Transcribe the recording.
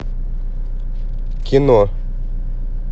кино